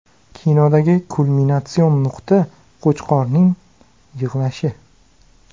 Kinodagi kulminatsion nuqta Qo‘chqorning yig‘lashi.